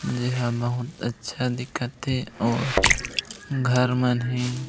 जेहा बहुत अच्छा दिखत हे और घर मन हे।